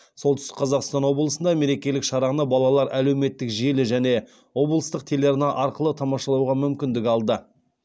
солтүстік қазақстан облысында мерекелік шараны балалар әлеуметтік желі және облыстық телеарна арқылы тамашалауға мүмкіндік алды